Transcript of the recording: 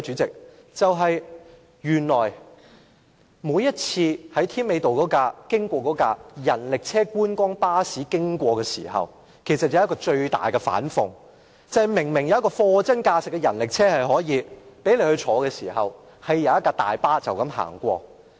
經常來回添美道的觀光巴士，其實是一個最大的反諷，明明有一輛貨真價實的人力車可以供人乘坐，卻有一輛大巴士接載遊客。